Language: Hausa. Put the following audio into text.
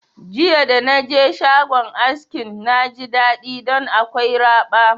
Jiya da naje shagon askin na ji daɗi ɗon akwai raba